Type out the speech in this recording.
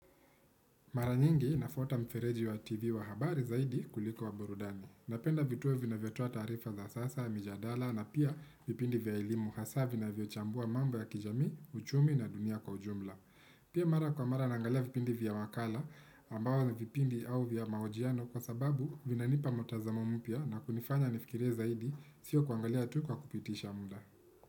Mara nyingi nafuata mfereji wa TV wa habari zaidi kuliko wa burudani. Napenda vituo vinavyo toa tarifa za sasa mijadala na pia vipindi vya elimu hasa vinavyo chambua mambo ya kijamii, uchumi na dunia kwa ujumla. Pia mara kwa mara naangalia vipindi vya wakala ambayo ni vipindi au vya mahojiano kwa sababu vina nipa mtazamo mpya na kunifanya nifikirie zaidi siyo kuangalia tu kwa kupitisha muda.